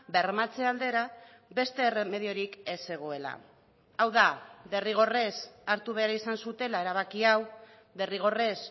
bermatze aldera beste erremediorik ez zegoela hau da derrigorrez hartu behar izan zutela erabaki hau derrigorrez